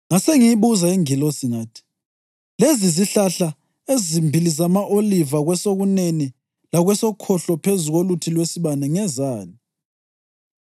Ngasengiyibuza ingilosi, ngathi, “Lezi zihlahla ezimbili zama-oliva kwesokunene lakwesokhohlo phezu koluthi lwesibane ngezani?”